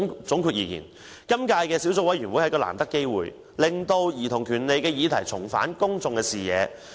總的來說，今屆小組委員會是難得機會，讓兒童權利相關議題重返公眾視野。